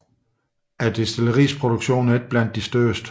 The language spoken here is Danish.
Destilleriets produktion er ikke blandt de største